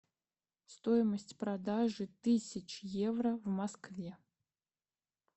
стоимость продажи тысяч евро в москве